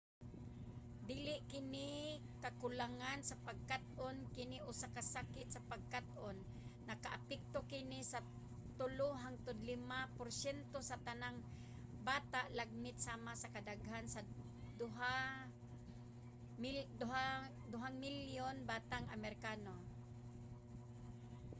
dili kini kakulangan sa pagkat-on kini usa ka sakit sa pagkat-on; nakaapekto kini sa 3 hangtod 5 porsyento sa tanang bata lagmit sama ka daghan sa 2 milyong batang amerikano